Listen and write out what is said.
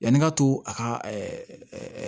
Yanni n ka to a ka